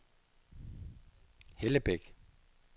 Hellebæk